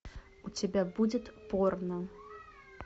у тебя будет порно